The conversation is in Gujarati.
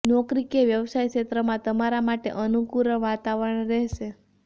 નોકરી કે વ્યવસાય ક્ષેત્રમાં તમારા માટે અનુકૂળ વાતાવરણ રહેશે